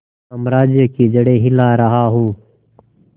साम्राज्य की जड़ें हिला रहा हूं